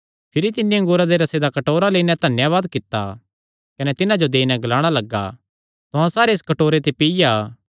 भिरी तिन्नी अंगूरा दे रसे दा कटोरा लेई नैं धन्यावाद कित्ता कने तिन्हां जो देई नैं ग्लाणा लग्गा तुहां सारे इस कटोरे ते पीआ